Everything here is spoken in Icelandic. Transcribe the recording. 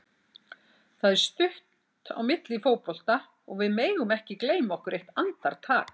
Það er stutt á milli í fótbolta og við megum ekki gleyma okkur eitt andartak.